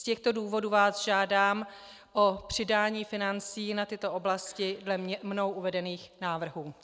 Z těchto důvodů vás žádám o přidání financí na tyto oblasti podle mnou uvedených návrhů.